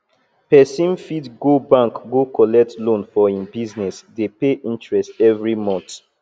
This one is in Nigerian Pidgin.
person fit go bank go collect loan for im business dey pay interest every month